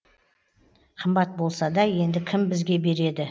қымбат болса да енді кім бізге береді